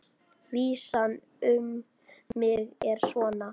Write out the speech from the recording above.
Vísan um mig er svona: